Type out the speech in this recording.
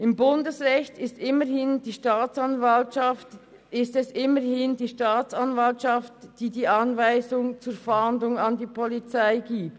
Im Bundesrecht ist es immerhin die Staatsanwaltschaft, die die Anweisung zur Fahndung an die Polizei gibt.